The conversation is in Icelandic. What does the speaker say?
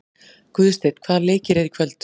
Guðsteinn, hvaða leikir eru í kvöld?